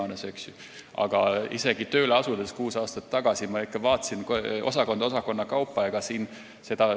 Kuus aastat tagasi, kui tööle asusin, vaatasin kõik üle, osakondade kaupa.